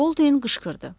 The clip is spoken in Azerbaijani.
Boldin qışqırdı.